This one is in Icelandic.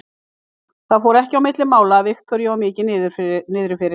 Það fór ekki á milli mála að Viktoríu var niðri fyrir.